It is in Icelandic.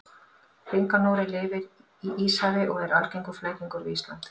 Hringanóri lifir í Íshafi og er algengur flækingur við Ísland.